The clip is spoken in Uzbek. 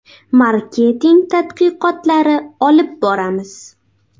Marketing tadqiqotlari olib boramiz.